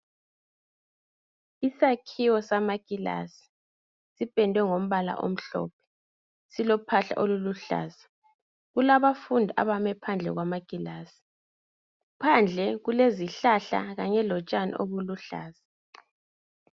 Isakhiwo samakilasi sipendwe ngombala omhlophe, silophahla oluluhlaza kulabafundi abame phandle kwamakilasi. Phandle kulezihlahla kanye lotshani obuluhlaza.